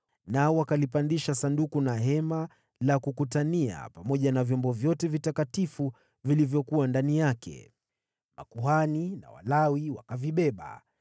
nao wakalipandisha Sanduku la Bwana , na Hema la Kukutania pamoja na vyombo vyote vitakatifu vilivyokuwa ndani yake. Makuhani na Walawi wakavibeba,